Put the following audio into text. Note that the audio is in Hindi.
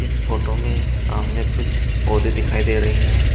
इस फोटो में सामने कुछ पौधे दिखाई दे रही हैं।